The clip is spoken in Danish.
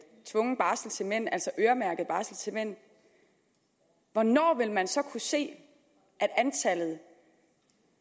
tvungen barsel til mænd altså øremærket barsel til mænd hvornår vil man så kunne se at antallet